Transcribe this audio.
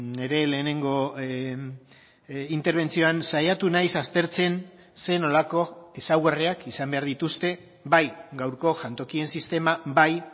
nire lehenengo interbentzioan saiatu naiz aztertzen zer nolako ezaugarriak izan behar dituzte bai gaurko jantokien sistema bai